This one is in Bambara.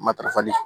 Matarafali